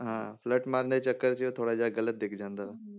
ਹਾਂ flirt ਮਾਰਨ ਦੇ ਚੱਕਰ 'ਚ ਥੋੜ੍ਹਾ ਜਿਹਾ ਗ਼ਲਤ ਦਿਖ ਜਾਂਦਾ ਉਹ,